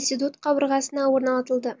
институт қабырғасына орнатылды